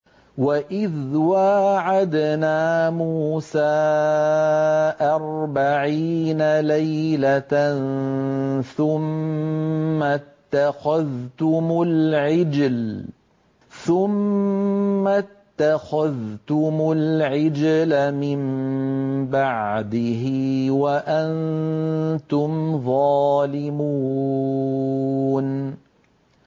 وَإِذْ وَاعَدْنَا مُوسَىٰ أَرْبَعِينَ لَيْلَةً ثُمَّ اتَّخَذْتُمُ الْعِجْلَ مِن بَعْدِهِ وَأَنتُمْ ظَالِمُونَ